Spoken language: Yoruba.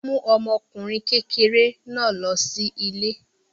Ọlá mú ọmọkùnrin kékeré náà lọ ilé.